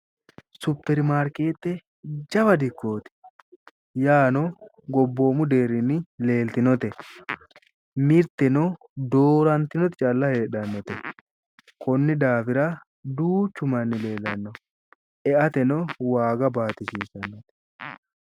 Superimaarikeete jawa dikooti yaano gobboomu deerinni leelitinnote, mirtenno doorantinoti calla heedhanote konni daafira duuchu manni leelanno, e'atenno waaga baatisiisanno.